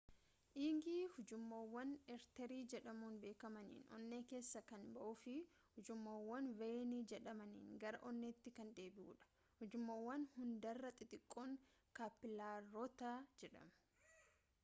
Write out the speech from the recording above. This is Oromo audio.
dhiigi ujummoowwan aarterii jedhamuun beekamaniin onnee keessaa kan ba'uu fi ujummoowwan veeyinii jedhamaniin gara onneetti kan deebi'udha ujummoowwan hundarra xixiqqoon kaappilaaroota jedhamu